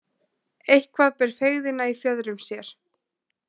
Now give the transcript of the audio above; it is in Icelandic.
Eitthvað ber feigðina í fjöðrum sér